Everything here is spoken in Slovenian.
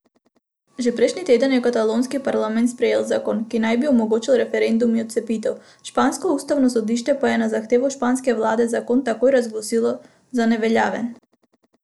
Že prejšnji teden je katalonski parlament sprejel zakon, ki naj bi omogočil referendum in odcepitev, špansko ustavno sodišče pa je na zahtevo španske vlade zakon takoj razglasilo za neveljaven.